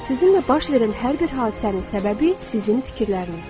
Sizinlə baş verən hər bir hadisənin səbəbi sizin fikirlərinizdir.